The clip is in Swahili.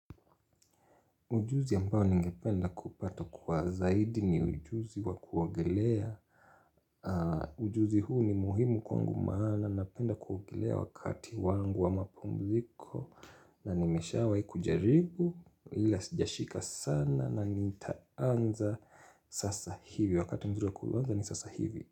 Ujuzi ambao ningependa kupata kwa zaidi ni ujuzi wa kuogelea. Ujuzi huu ni muhimu kwangu maana napenda kuogolea wakati wangu wa mapumziko. Na nimeshawahi kujaribu, ila sijashika sana na nitaanza sasa hivi. Wakati mzuri wa kuanza ni sasa hivi.